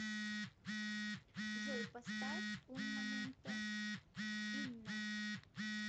джой поставь ун моменто инна